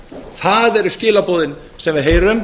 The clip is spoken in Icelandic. það eru skilaboðin sem við heyrum